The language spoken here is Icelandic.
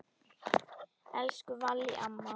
Elsku Vallý amma.